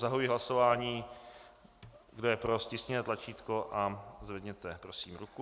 Zahajuji hlasování, kdo je pro, stiskněte tlačítko a zvedněte prosím ruku.